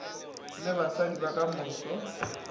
le basadi ba ka moso